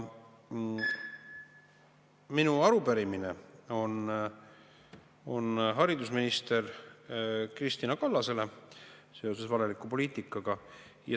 Minu arupärimine on haridusminister Kristina Kallasele seoses valeliku poliitikaga.